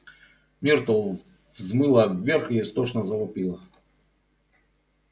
миртл взмыла вверх и истошно завопила